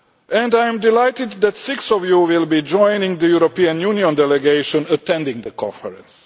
And I am delighted that six of you will be joining the European Union delegation attending the conference.